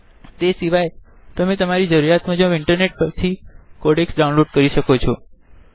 એ સિવાય તમે તમારી જરૂરિયાત મુજબ ઈન્ટરનેટ પરથી કોડેકસ ડાઉનલોડ કરી શકો છો